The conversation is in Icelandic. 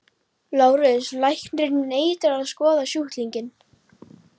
LÁRUS: Læknirinn neitar að skoða sjúklinginn.